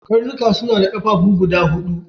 Karnika su na da ƙafafuwa guda hudu.